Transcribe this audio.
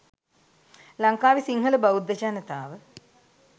ලංකාවෙ සිංහල බෞද්ධ ජනතාව